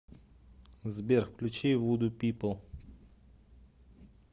сбер включи вуду пипл